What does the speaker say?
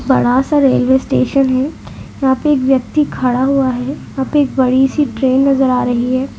बड़ा सा railway station है। यहा पे एक व्यक्ति खड़ा हुआ है। अभी एक बड़ी सी ट्रैन नज़र आ रही है। ।